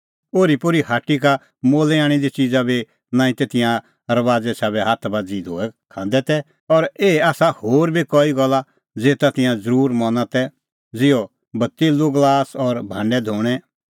ओरीपोरी हाटा का मोलै आणी दी च़िज़ा बी नांईं तै तिंयां रबाज़े साबै हाथ बाझ़ी धोऐ खांदै तै और एही आसा होर बी कई गल्ला ज़ेता तिंयां ज़रूरी मना तै ज़िहअ कटोरअ गलास और भांडै धोणैं